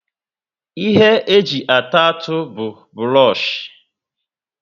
Ihe eji ata atụ bu buroshi